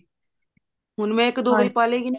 ਹੁਣ ਇੱਕ ਪਾਲੇਗੀ